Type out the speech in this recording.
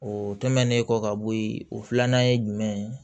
O tɛmɛnen kɔ ka bɔ yen o filanan ye jumɛn ye